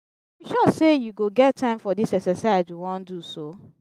you sure say you go get time for dis exercise we wan do so?